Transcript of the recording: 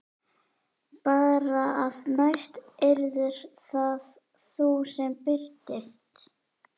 Bara að næst yrðir það þú sem birtist.